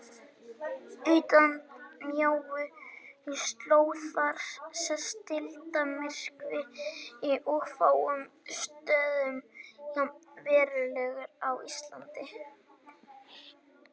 Utan þessarar mjóu slóðar sést deildarmyrkvi og á fáum stöðum jafn verulegur og á Íslandi.